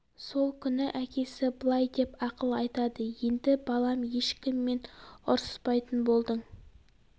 сол күні әкесі былай деп ақыл айтады енді балам ешкіммен ұрсыспайтын болдың